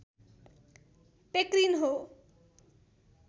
पेक्रिन हो